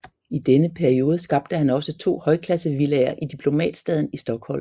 I denne periode skabte han også to højklassevillaer i Diplomatstaden i Stockholm